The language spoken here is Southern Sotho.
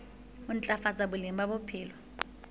ho ntlafatsa boleng ba bophelo